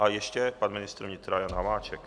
A ještě pan ministr vnitra Jan Hamáček.